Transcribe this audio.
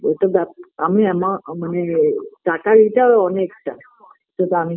ও তো ব্যাপ আমি আমার মানে টাকার এইটার অনেকটা যেটা আমি